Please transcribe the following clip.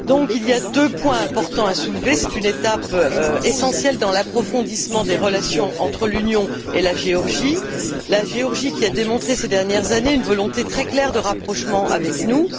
Il y a donc deux points importants à soulever. Il s'agit d'une étape essentielle dans l'approfondissement des relations entre l'Union et la Géorgie, laquelle a démontré ces dernières années une volonté très claire de rapprochement avec nous.